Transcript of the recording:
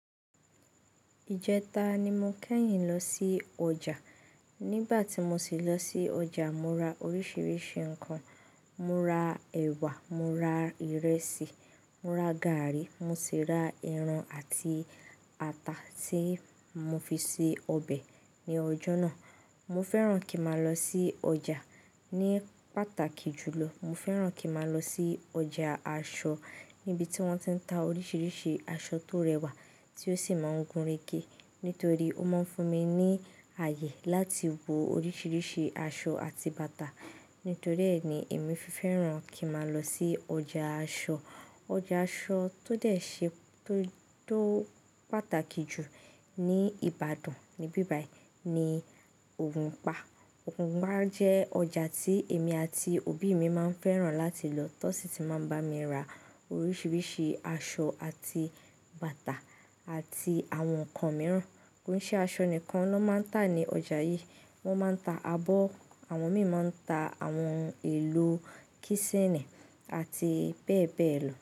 Ìjẹta ni mo kẹ́yìn lọ sí ọjà. Nígbà tí mo sì lọ sí ọjà, mo ra oríṣiríṣi nǹkan. Mo ra ẹ̀wà, mo ra ìrẹsì, mo ra gààrí, mo sì ra ẹran àti ata tí mo fi ṣe ọbẹ̀ ní ọjọ́ náà. Mo fẹ́ràn kí n má lọ sí ọjà ní pàtàkì jùlọ. Mo fẹ́ràn kí n má lọ sí ọjà aṣọ níbi tí wọ́n ti ń ta oríṣiríṣi aṣọ tó rẹwà tí ó sì máa ń gúnregé nítorí ó máa ń fún mi ní àyè láti wo oríṣiríṣi aṣọ àti bàtà. Nítorí ẹ́ ni èmi fẹ́ràn kí má lọ sí ọjà aṣọ. Ọjà aṣọ tó dẹ̀ ṣe tó, tó pàtàkì jù ní Ìbàdàn níbí báì ni Ògùnpa. Ògùnpa jẹ́ ọjà tí èmi àti òbí mi máa ń fẹ́ràn láti lọ tọ́ sì ti máa ń bá mi ra oríṣiríṣi aṣọ àti bàtà àti àwọn nǹkan mìíràn. Kò í ṣe aṣọ nìkan ni wọ́n máa ń tà ní ọjà yìí. Wọ́n máa ń ta abọ́, àwọn mìíràn máa ń ta àwọn ohun èlò kísínì àti bẹ́ẹ̀ bẹ́ẹ̀ lọ.